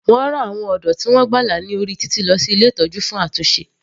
Wọ́n rán àwọn ọ̀dọ́ tí wọ́n gbàlà ní orí títì lọ sí ilé ìtọ́jú fún àtúnṣe.